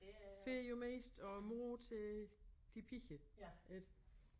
Får jo mest og mor til de piger ik